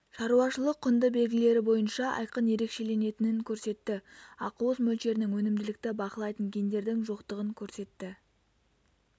шаруашылық-құнды белгілері бойынша айқын ерекшеленетінін көрсетті ақуыз мөлшерінің өнімділікті бақылайтын гендердің жоқтығын көрсетті